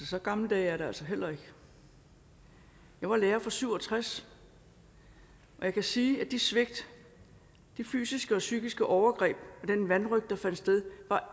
så gamle dage er det altså heller ikke jeg var lærer fra nitten syv og tres og jeg kan sige at de svigt de fysiske og psykiske overgreb og den vanrøgt der fandt sted